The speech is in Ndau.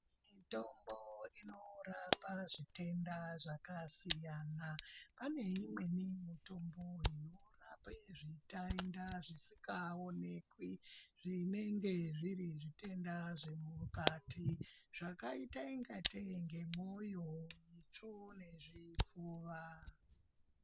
Mutombo inorapa zvitenda zvakasiyana pane imweni mitombo inorapa zvitainda zvisikaonekwi zvinenge zviri zvitenda zvemukati zvakaita ingatei ngemwoyo itsvo nezvipfuva.